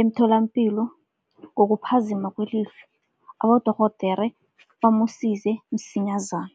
emtholapilo ngokuphazima kwelihlo abodorhodera bamsize msinyazana.